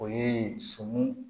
O ye sɔmi